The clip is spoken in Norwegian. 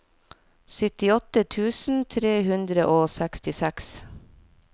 syttiåtte tusen tre hundre og sekstiseks